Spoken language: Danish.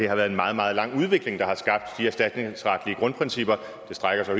har været en meget meget lang udvikling der har skabt de erstatningsretlige grundprincipper det strækker sig